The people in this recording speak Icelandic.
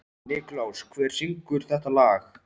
Nikulás, hver syngur þetta lag?